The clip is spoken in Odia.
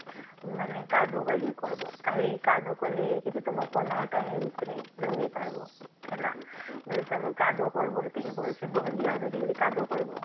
ମାନେ କାଦୁଅ ବାରି କରିବ କାଲି କାଦୁଅ କରିକି ତମ ପଲାହଟା ଭିତରେ ଲଗେଇପାରିବ ହେଲା ବୋଲେ ତାକୁ କଦୁ କରିବ ଭଲସେ ସେତିକି ବହଲିଆ କରିକି କାଦୁଅ କରିବ